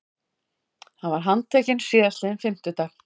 Hann var handtekinn síðastliðinn fimmtudag